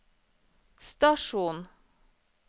stasjon